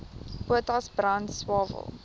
potas brand swael